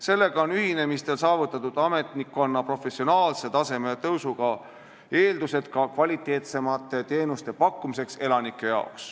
Sellega on ühinemistel saavutatud ametnikkonna professionaalse taseme tõusuga eeldused ka kvaliteetsemate teenuste pakkumiseks elanikele.